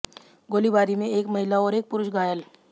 गोलीबारी में एक महिला और एक पुरुष घायल